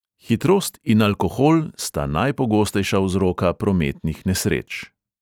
Hitrost in alkohol – sta najpogostejša vzroka prometnih nesreč.